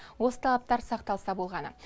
осы талаптар сақталса болғаны